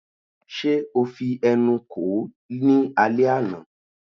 Ṣe o fi ẹnu kò ó ní alẹ́ àná?